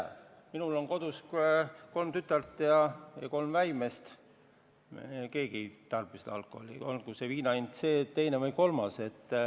Mina ei tea, minul on kodus kolm tütart ja kolm väimeest, me keegi ei tarbi alkoholi, olgu viina hind see, teine või kolmas.